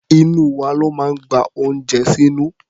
Inú wa ló máa ń gba oúnjẹ sínú.